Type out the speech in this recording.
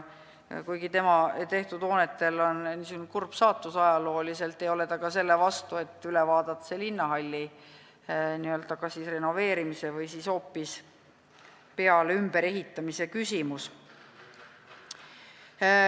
Kuigi tema tehtud hoonetel on ajalooliselt niisugune kurb saatus, ei ole ta selle vastu, et üle vaadata see linnahalli kas renoveerimise või hoopis peale- või ümberehitamise küsimus.